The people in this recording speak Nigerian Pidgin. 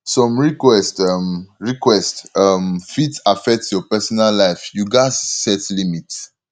some requests um requests um fit affect your personal life you gatz set limits